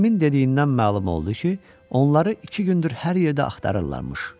Hakimin dediyindən məlum oldu ki, onları iki gündür hər yerdə axtarırlarmış.